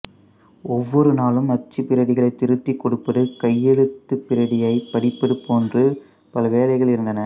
ஒவ்வொருநாளும் அச்சுப்பிரதிகளைத் திருத்திக் கொடுப்பது கையெழுத்துப்பிரதியைப் படிப்பது போன்று பல வேலைகள் இருந்தன